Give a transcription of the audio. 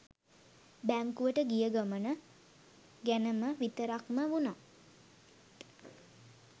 බැංකුවට ගිය ගමන ගැනම විතරක්ම වුණත්